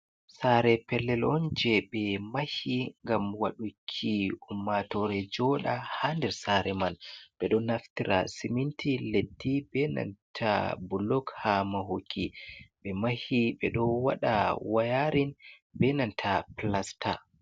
Sare pellelon je be mahi ngam waɗuki ummatore joɗa hanɗer sare man. be ɗo naftira siminti leɗɗi benanta bullug ha mahuki. Be mahi be ɗo waɗa wayarin benanta pilasta.